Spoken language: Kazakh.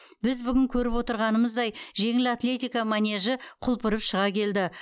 біз бүгін көріп отырғанымыздай жеңіл атлетика манежі құлпырып шыға келді